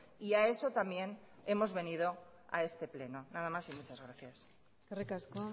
y a eso también hemos venido a este pleno nada más y muchas gracias eskerrik asko